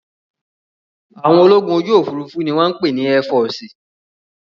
Àwọn ológun ojú òfuurufú ni wọ́n ń pè ní ẹ́fọọ̀sì